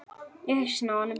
Í hausinn á honum.